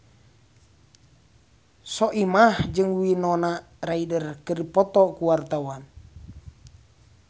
Soimah jeung Winona Ryder keur dipoto ku wartawan